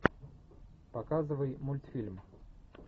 показывай мультфильм